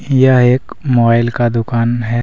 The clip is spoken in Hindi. यह एक मोबाइल का दुकान है।